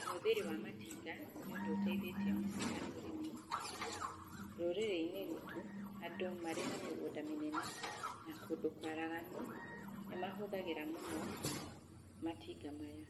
Ũhũthĩri wa matinga, nĩ ũndũ ũteithĩtie mũno harĩ ũrĩmi, rũrĩrĩ-inĩ ruitũ andũ marĩ na mĩgũnda mĩnene, na kũndũ kwaraganu, nĩmahũthagĩra mũno matinga maya,